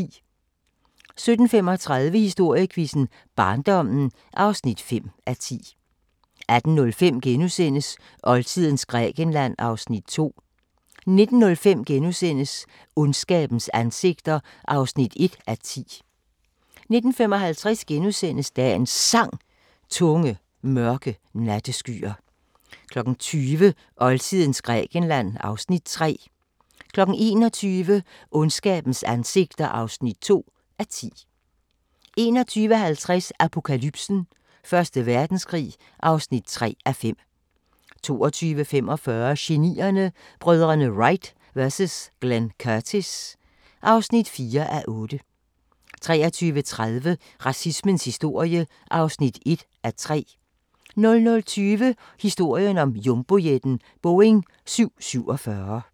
17:35: Historiequizzen: Barndommen (5:10) 18:05: Oldtidens Grækenland (Afs. 2)* 19:05: Ondskabens ansigter (1:10)* 19:55: Dagens Sang: Tunge, mørke natteskyer * 20:00: Oldtidens Grækenland (Afs. 3) 21:00: Ondskabens ansigter (2:10) 21:50: Apokalypsen: Første Verdenskrig (3:5) 22:45: Genierne: Brødrene Wright vs Glenn Curtis (4:8) 23:30: Racismens historie (1:3) 00:20: Historien om jumbojetten – Boeing 747